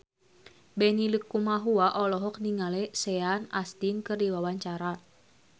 Benny Likumahua olohok ningali Sean Astin keur diwawancara